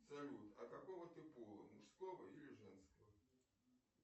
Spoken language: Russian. салют а какого ты пола мужского или женского